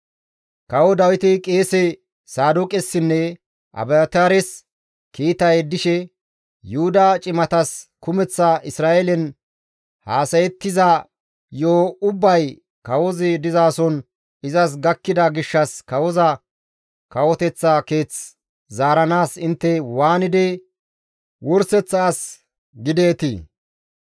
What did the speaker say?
Kawo Dawiti qeese Saadooqessinne Abiyaataares kiita yeddishe, «Yuhuda cimatas, ‹Kumeththa Isra7eelen haasayettiza yo7o ubbay kawozi dizason izas gakkida gishshas kawoza kawoteththa keeth zaaranaas intte waanidi wurseththa as gideetii?